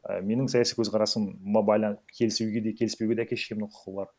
і менің саяси көзкарасыма келісуге де келіспеуге де әке шешемнің құқы бар